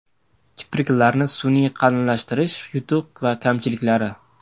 Kipriklarni sun’iy qalinlashtirish: yutuq va kamchiliklari.